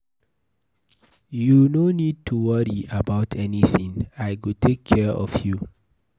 You no need to worry about anything, I go take care of you.